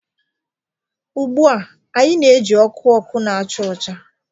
Ugbu a, anyị na-eji ọkụ ọkụ na-acha ọcha